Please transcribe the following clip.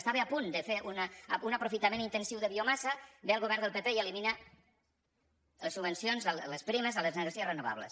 estava a punt de fer un aprofitament intensiu de biomassa ve el govern del pp i elimina les subvencions les primes a les energies renovables